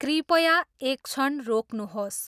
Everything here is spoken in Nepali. कृपया एक क्षण रोक्नुहोस्।